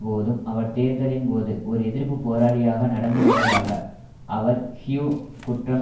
போதும் அவர் தேர்தலின் போது ஒரு எதிர்ப்பு போராளியாக நடந்துகொண்டதாக அவர் ஹியூ குற்றம்